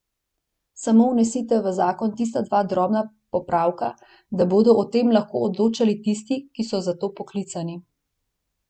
Samo vnesite v zakon tista dva drobna popravka, da bodo o tem lahko odločali tisti, ki so za to poklicani.